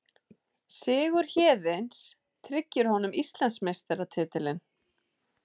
Sigur Héðins tryggir honum Íslandsmeistaratitilinn